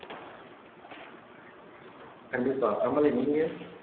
கண்டிப்பா கமலி நீங்க